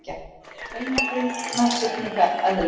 Beinagrind nashyrningseðlu